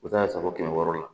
U bɛ taa se fo kɛmɛ wɔɔrɔ la